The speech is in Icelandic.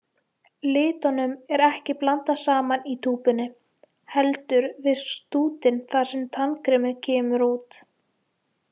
Litunum er ekki blandað saman í túpunni, heldur við stútinn þar sem tannkremið kemur út.